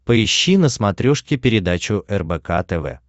поищи на смотрешке передачу рбк тв